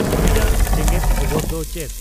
ᱦᱟᱹᱞᱤᱭᱟᱜ ᱡᱮᱜᱮᱫ ᱠᱷᱚᱵᱚᱨ ᱫᱚ ᱪᱮᱫ